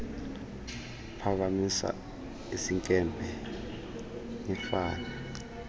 uphakamisa isinkempe nifane